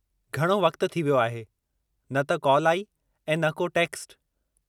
घणो वक़्ति थी वियो आहे, न त कॉल आई ऐं न को टेक्स्टु।